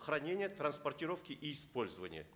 хранения транспортировки и использования